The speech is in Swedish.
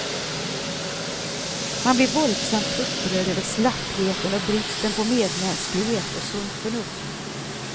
Man blir våldsamt upprörd över slappheten och bristen på medmänsklighet och sunt förnuft.